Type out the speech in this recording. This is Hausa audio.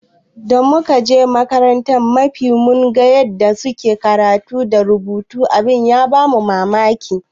Da muka je makarantar makafi mun ga yanda suke karatu da rubutu abin ya bamu mamaki.